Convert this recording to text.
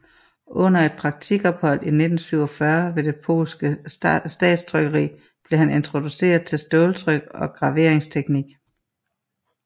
Under et praktikophold i 1947 ved det polske statstrykkeri blev han introduceret til ståltryk og graveringsteknik